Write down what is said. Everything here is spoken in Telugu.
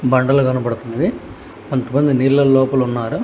బండలు కనబడుతున్నవి కొంతమంది నీళ్ల లోపల ఉన్నారు.